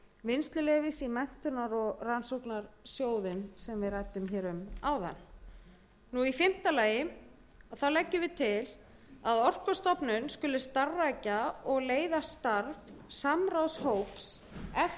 vinnsluleyfis í menntunar og rannsóknarsjóðinn sem ég ræddi um áðan í fimmta lagi leggur meiri hlutinn til að orkustofnun skuli starfrækja og leiða starf samráðshóps